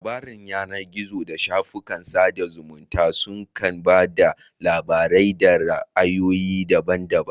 Labaran yanar gizo da shafukan sada zumunta su kan ba da labarai da ra'ayoyi daban daban.